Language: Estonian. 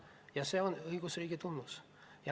Ja see on õigusriigi tunnus.